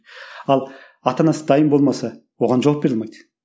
ал ата анасы дайын болмаса оған жауап бере алмайды